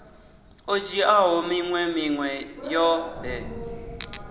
o dzhiaho minwe minwe yoṱhe